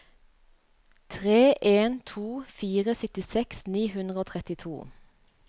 tre en to fire syttiseks ni hundre og trettito